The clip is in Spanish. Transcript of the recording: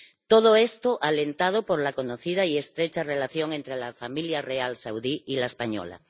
Todo esto alentado por la conocida y estrecha relación entre la familia real saudí y la española.